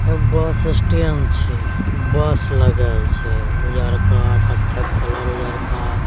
बस स्टैंड छै बस लगल छै उजला कथक कलर उजला --